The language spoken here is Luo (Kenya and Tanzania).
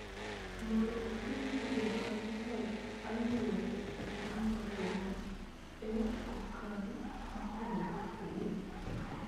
mondo oket jokanyo mag aluore e piny mangima e okang� mopogore opogore.